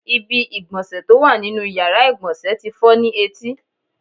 Ibi ìgbọ̀nsẹ̀ tó wà nínú ìyára ìgbọ̀nsẹ̀ tí fọ́ ni etí.